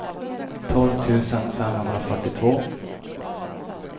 tolv tusen femhundrafyrtiotvå